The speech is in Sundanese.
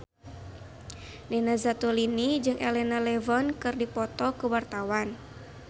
Nina Zatulini jeung Elena Levon keur dipoto ku wartawan